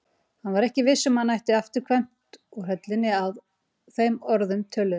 Hann var ekki viss um að hann ætti afturkvæmt úr höllinni að þeim orðum töluðum.